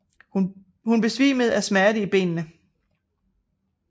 Hun besvimede af smerten i benene